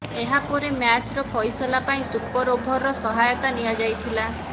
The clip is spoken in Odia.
ଏହା ପରେ ମ୍ୟାଚର ଫଇସଲା ପାଇଁ ସୁପର ଓଭରର ସହାୟତା ନିଆଯାଇଥିଲା